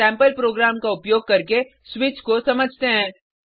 sample program का उपयोग करके स्विच को समझते हैं